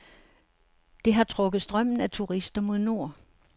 Det har trukket strømmen af turister mod nord.